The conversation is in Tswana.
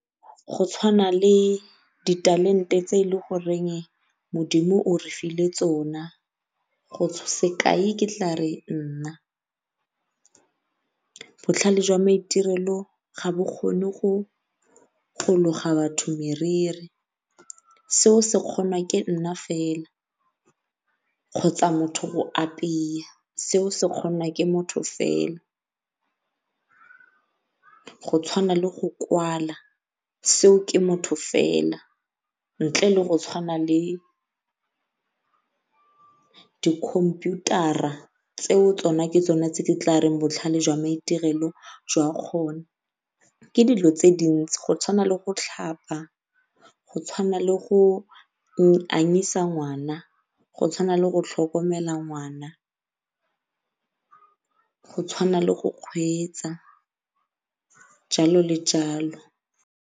Go tshwana le ditalente tse e le goreng modimo o re file tsona sekai ke tlare nna, botlhale jwa maitirelo ga bo kgone go loga batho meriri seo se kgonwa ke nna fela kgotsa motho go seo se kgonwa ke motho fela, go tshwana le go kwala seo ke motho fela. Ntle le go tshwana le dikhumputara tseo ke tsone tse di tlareng botlhale jwa maitirelo jwa kgona. Ke dilo tse di dintsi go tshwana le go tlhapa, go tshwana le go anyisa ngwana, go tshwana le go tlhokomela ngwana, go tshwana le go kgweetsa jalo le jalo.